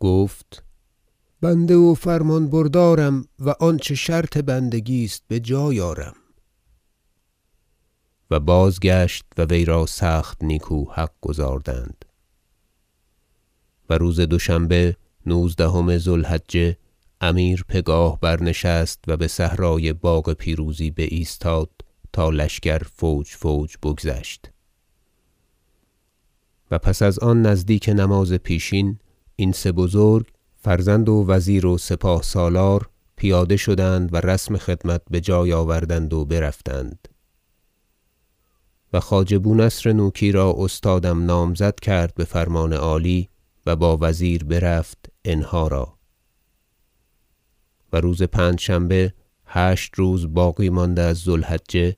گفت بنده و فرمان بردارم و آنچه شرط بندگی است بجای آرم و بازگشت و وی را سخت نیکو حق گزاردند و روز دوشنبه نوزدهم ذو الحجه امیر پگاه برنشست و بصحرای باغ پیروزی بایستاد تا لشکر فوج فوج بگذشت و پس از آن نزدیک نماز پیشین این سه بزرگ فرزند و وزیر و سپاه سالار پیاده شدند و رسم خدمت بجای آوردند و برفتند و خواجه بونصر نوکی را استادم نامزد کرد بفرمان عالی و با وزیر برفت انهی را و روز پنجشنبه هشت روز باقی مانده از ذو الحجه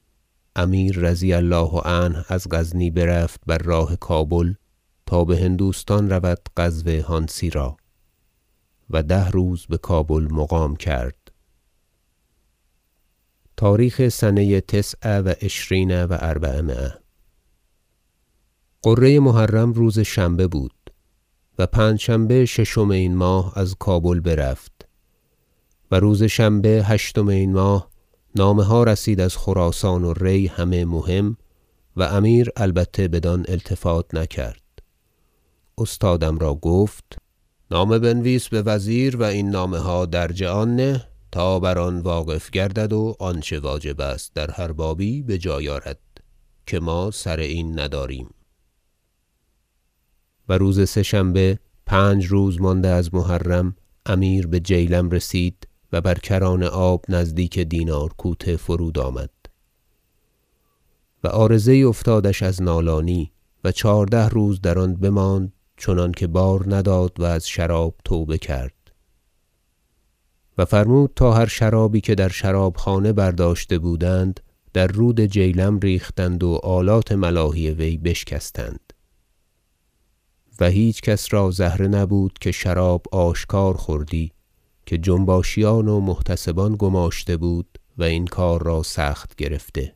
امیر رضی الله عنه از غزنی برفت بر راه کابل تا بهندوستان رود غزو هانسی را و ده روز بکابل مقام کرد تاریخ سنه تسع و عشرین و أربعمایه غره محرم روز شنبه بود و پنجشنبه ششم این ماه از کابل برفت و روز شنبه هشتم این ماه نامه ها رسید از خراسان و ری همه مهم و امیر البته بدان التفات نکرد استادم را گفت نامه بنویس بوزیر و این نامه ها درج آن نه تا بر آن واقف گردد و آنچه واجب است در هر بابی بجای آرد که ما سر این نداریم و روز سه شنبه پنج روز مانده از محرم امیر به جیلم رسید و بر کران آب نزدیک دینار کوته فرود آمد و عارضه یی افتادش از نالانی و چهارده روز در آن بماند چنانکه بار نداد و از شراب توبه کرد و فرمود تا هر شرابی که در شرابخانه برداشته بودند در رود جیلم ریختند و آلات ملاهی وی بشکستند و هیچ کس را زهره نبود که شراب آشکار خوردی که جنباشیان و محتسبان گماشته بود و این کار را سخت گرفته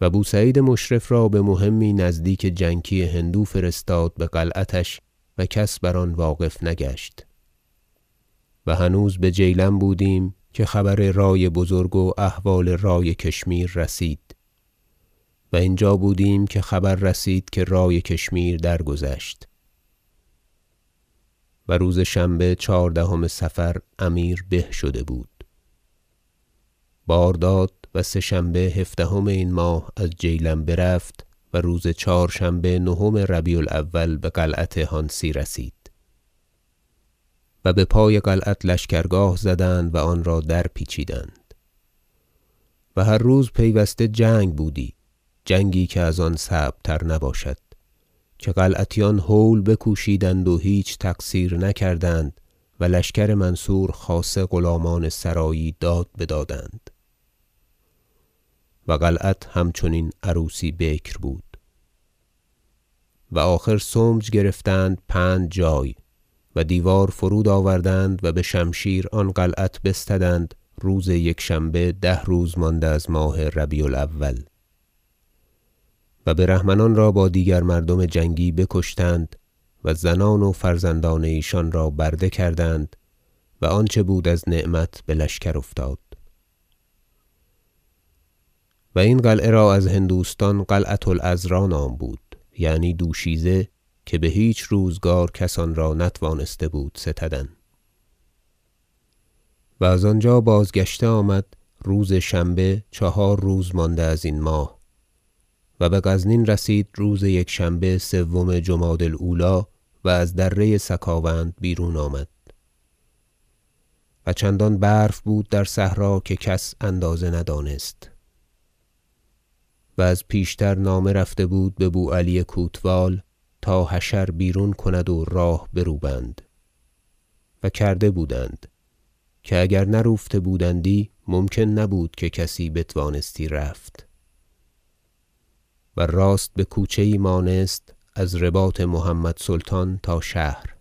و بوسعید مشرف را بمهمی نزدیک جنکی هندو فرستاد بقلعتش و کس بر آن واقف نگشت و هنوز به جیلم بودیم که خبر رای بزرگ و احوال رای کشمیر رسید و اینجا بودیم که خبر رسید که رای کشمیر درگذشت و روز شنبه چهاردهم صفر امیر به شده بود بار داد و سه شنبه هفدهم این ماه از جیلم برفت و روز چهارشنبه نهم ربیع الاول بقلعت هانسی رسید و بپای قلعت لشکر- گاه زدند و آن را درپیچیدند و هر روز پیوسته جنگ بودی جنگی که از آن صعب تر نباشد که قلعتیان هول بکوشیدند و هیچ تقصیر نکردند و لشکر منصور خاصه غلامان سرایی داد بدادند و قلعت همچنین عروسی بکر بود و آخر سمج گرفتند پنج جای و دیوار فرود آوردند و بشمشیر آن قلعت بستدند روز یکشنبه ده روز مانده از ربیع الأول و بر همنان را با دیگر مردم جنگی بکشتند و زنان و فرزندان ایشان را برده کردند و آنچه بود از نعمت بلشکر افتاد و این قلعه را از هندوستان قلعة العذراء نام بود یعنی دوشیزه که بهیچ روزگار کس آن را نتوانسته بود ستدن و از آنجا بازگشته آمد روز شنبه چهار روز مانده از این ماه و بغزنین رسید روز یکشنبه سوم جمادی الاولی و از دره سکاوند بیرون آمد و چندان برف بود در صحرا که کس اندازه ندانست و از پیشتر نامه رفته بود ببوعلی کوتوال تا حشر بیرون کند و راه برو بند و کرده بودند که اگر نروفته بودندی ممکن نبودی که کسی بتوانستی رفت و راست بکوچه یی مانست از رباط محمد سلطان تا شهر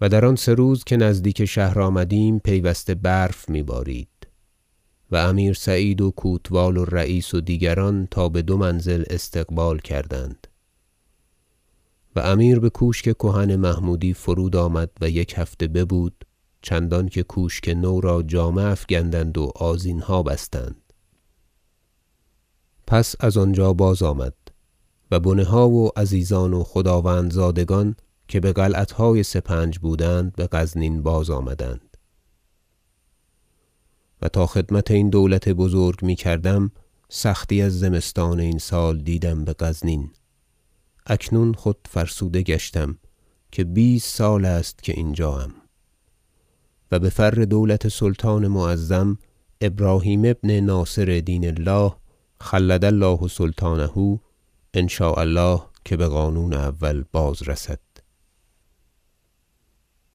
و در آن سه روز که نزدیک شهر آمدیم پیوسته برف میبارید و امیر سعید و کوتوال و رییس و دیگران تا بدو منزل استقبال کردند و امیر بکوشک کهن محمودی فرود آمد و یک هفته ببود چندانکه کوشک نو را جامه افگندند و آذینها بستند پس از آنجا بازآمد و بنه ها و عزیزان و خداوندزادگان که بقلعتهای سپنج بودند بغزنین بازآمدند و تا خدمت این دولت بزرگ میکردم سختی از زمستان این سال دیدم بغزنین اکنون خود فرسوده گشتم که بیست سال است که اینجاام و بفر دولت سلطان معظم ابراهیم ابن ناصر دین الله خلد الله سلطانه ان شاء الله که بقانون اول بازرسد